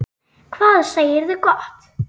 Hvað segirðu gott?